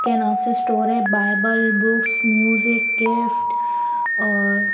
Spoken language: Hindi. के नाम से स्टोर है बाइबल बुक्स म्यूजिक गिफ्ट और--